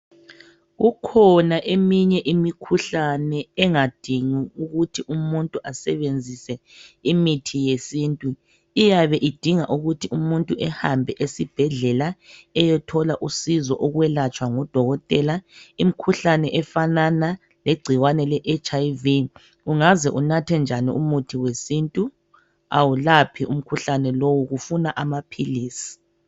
Kukhona eminye imikhuhlane engadingi ukuthi umuntu asebenzise imithi yesintu. Iyabe idinga ukuthi umuntu ehambe esibhedlela eyethola usizo ukwelatshwa ngudokotela. Imkhuhlane efanana legcikwane leHIV ungaze unathe njani umuthi wesintu awulaphi umkhuhlane lowu kufuna amaphilizi.